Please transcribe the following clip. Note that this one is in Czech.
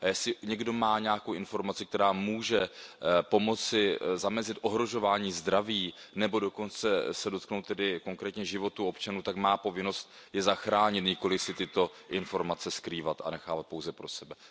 Jestli někdo má nějakou informaci, která může pomoci zamezit ohrožování zdraví nebo se dokonce dotknout konkrétně života občanů, tak má povinnost je zachránit, nikoliv si tyto informace skrývat a nechávat pouze pro sebe.